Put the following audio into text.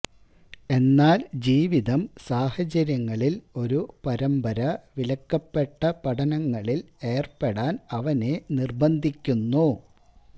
എന്നാൽ ജീവിതം സാഹചര്യങ്ങളിൽ ഒരു പരമ്പര വിലക്കപ്പെട്ട പഠനങ്ങളിൽ ഏർപ്പെടാൻ അവനെ നിർബ്ബന്ധിക്കുന്നു